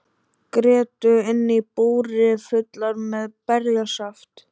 Grétu inni í búri fullar með berjasaft.